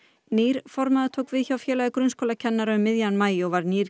nýr formaður tók við hjá Félagi grunnskólakennara um miðjan maí og var nýr